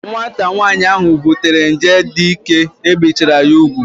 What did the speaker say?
Nwata nwaanyị ahu butere nje dike ebichara ya ugwu